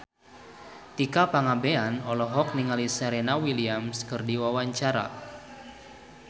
Tika Pangabean olohok ningali Serena Williams keur diwawancara